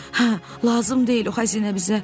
Hə, lazım deyil o xəzinə bizə.